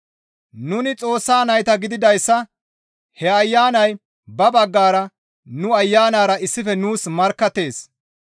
Nuni Xoossa nayta gididayssa he Ayanay ba baggara nu ayanara issife nuus markkattees.